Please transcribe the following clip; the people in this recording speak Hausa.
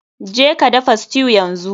Jeka dafa stew yanzu.